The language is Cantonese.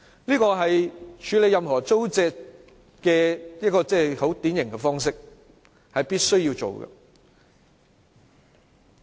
這個是處理土地租借的典型方式，是必須做的。